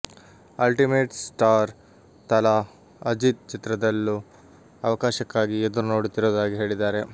ultimate star Thala Ajith ಚಿತ್ರದಲ್ಲೂ ಅವಕಾಶಕ್ಕಾಗಿ ಎದುರು ನೋಡುತ್ತಿರುವುದಾಗಿ ಹೇಳಿದ್ದಾರೆ